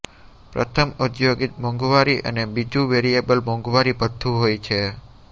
પ્રથમ ઔદ્યોગિક મોંઘવારી અને બીજું વેરીએબલ મોંઘવારી ભથ્થું હોય છે